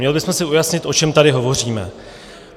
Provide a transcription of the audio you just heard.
Měli bychom si ujasnit, o čem tady hovoříme.